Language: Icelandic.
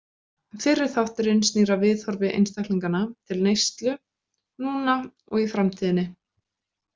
Fyrri þátturinn snýr að viðhorfi einstaklinganna til neyslu núna og í framtíðinni.